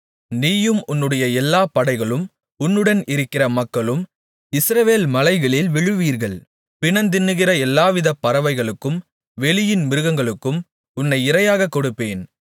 நீயும் உன்னுடைய எல்லா படைகளும் உன்னுடன் இருக்கிற மக்களும் இஸ்ரவேல் மலைகளில் விழுவீர்கள் பிணந்தின்னுகிற எல்லாவித பறவைகளுக்கும் வெளியின் மிருகங்களுக்கும் உன்னை இரையாகக் கொடுப்பேன்